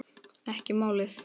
Ekki málið!